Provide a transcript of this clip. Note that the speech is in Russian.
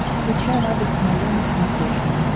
включай радость моя на смотрешке